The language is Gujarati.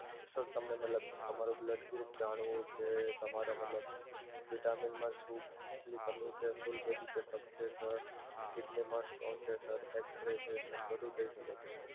sir તમને મતલબ તમારું blood group જાણવું છે તમારે મતલબ vitamin માં શું કમી છે, full body checkup છે, kidney માં stone છે sir X-ray છે sir બધુ થઈ શકે છે.